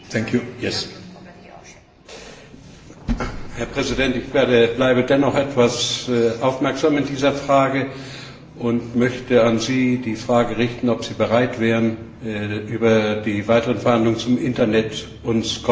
Ich bleibe dennoch etwas aufmerksam in dieser Frage und möchte an Sie die Frage richten, ob Sie bereit wären, uns in groben Zügen über die weiteren Verhandlungen zum Internet zu informieren, denn das ist eine wichtige, einschneidende Maßnahme für die Zukunft.